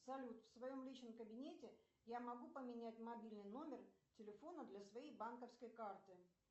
салют в своем личном кабинете я могу поменять мобильный номер телефона для своей банковской карты